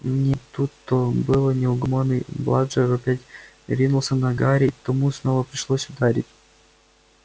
не тут-то было неугомонный бладжер опять ринулся на гарри и тому снова пришлось ударить